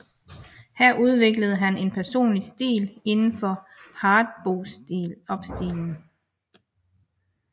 Her udviklede han en personlig stil indenfor hardbopstilen